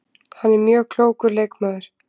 Hann er mjög klókur leikmaður